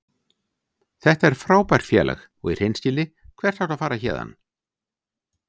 Þetta er frábært félag og í hreinskilni, hvert áttu að fara héðan?